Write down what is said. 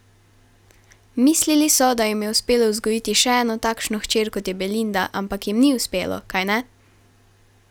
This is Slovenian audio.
Mislili so, da jim je uspelo vzgojiti še eno takšno hčer, kot je Belinda, ampak jim ni uspelo, kajne?